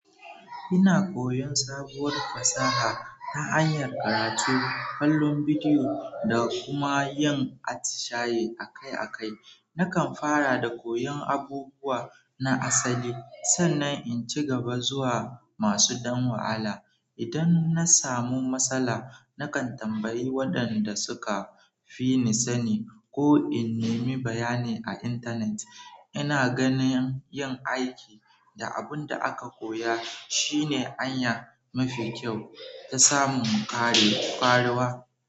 Ina koyon sabuwar fasaha ta hanyar karatu, kallon bidiyo da kuma yin atishaye akai-akai. Nakan fara da koyon abubuwa na asali sannan in ci gaba zuwa masu ɗan wahala. Idan na samu matsala, nakan tambayi waɗanda suka fi ni sani ko in nemi bayani a intanet. Ina ganin yin aiki da abun da aka koya shine hanya mafi kyau ta samun kare karuwa.